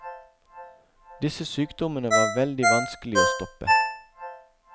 Disse sykdommene var veldig vanskelige å stoppe.